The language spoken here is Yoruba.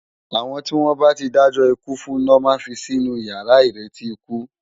Awòn tiwòn bá ti dájò ikú fún lo má n fi sinú iyàrá iréti ikú